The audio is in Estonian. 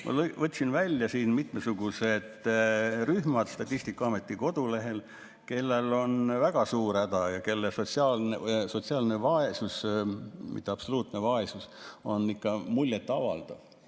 Ma võtsin välja Statistikaameti kodulehelt mitmesugused rühmad, kellel on väga suur häda ja kelle sotsiaalne vaesus – mitte absoluutne vaesus – on ikka muljetavaldav.